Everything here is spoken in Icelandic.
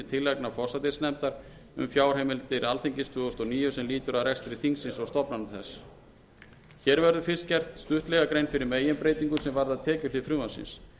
tillagna forsætisnefndar um fjárheimildir alþingis tvö þúsund og níu sem lýtur að rekstri þingsins og stofnana þess hér verður fyrst gerð stuttlega grein fyrir meginbreytingum sem varða tekjuhlið frumvarpsins